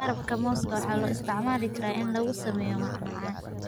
Qarabka mooska waxaa loo isticmaali karaa in lagu sameeyo macmacaan.